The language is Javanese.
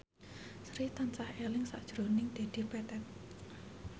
Sri tansah eling sakjroning Dedi Petet